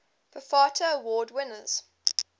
bafta award winners